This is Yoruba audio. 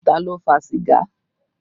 Ta ló fa sìgá?